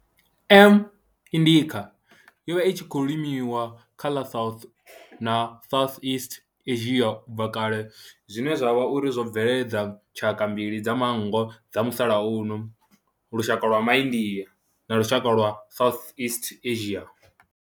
M. indica yo vha i tshi khou limiwa kha ḽa South na Southeast Asia ubva kale zwine zwa vha uri zwo bveledza tshaka mbili dza manngo dza musalauno lushaka lwa India na lushaka lwa Southeast Asia.